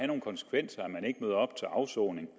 nogle konsekvenser at man ikke møder op til afsoning